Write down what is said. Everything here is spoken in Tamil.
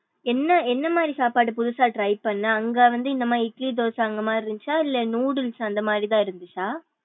என்ன என்னமாரி சாப்பாடு புதுசா try பண்ணா அங்க வந்து இந்த மாறி இட்லி தோசை அந்தமாரி தான் இருந்துச்சா இல்ல noodles அந்த மாரி தான் இருந்துச்சா.